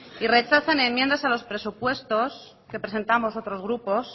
y rechazan a enmiendas a los presupuestos que presentamos otros grupos